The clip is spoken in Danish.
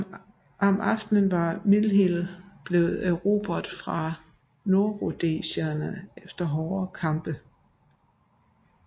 Om aftenen var Mill Hill blevet erobret fra nordrhodesierne efter hårde kampe